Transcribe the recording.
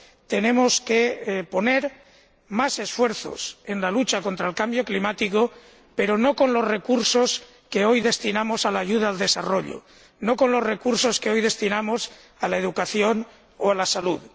Tenemos que destinar más esfuerzos a la lucha contra el cambio climático, pero no con los recursos que hoy destinamos a la ayuda al desarrollo, no con los recursos que hoy destinamos a la educación o a la salud.